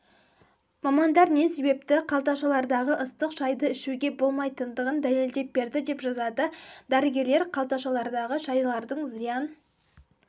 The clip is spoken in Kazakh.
мамандар не себепті қалташалардағы ыстық шайды ішуге болмайтындығын дәлелдеп берді деп жазады дәрігелер қалташалардағы шайлардың зиян